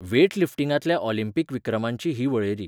वॅटलिफ्टिंगांतल्या Olympic विक्रमांची ही वळेरी.